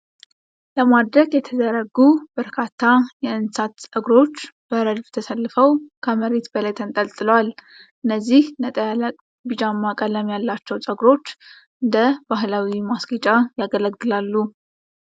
ለማድረቅ የተዘረጉ በርካታ የዕንሳት ጸጉሮች በረድፍ ተሰልፈው ከመሬት በላይ ተንጠልጥለዋል። እነዚህ ነጣ ያለ ቢጫማ ቀለም ያላቸው ጸጉሮች እንደ ባሕላዊ ማስጌጫ ያገለግላሉ።